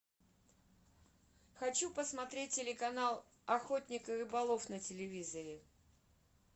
хочу посмотреть телеканал охотник и рыболов на телевизоре